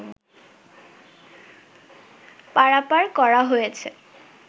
পারাপার করা হয়েছ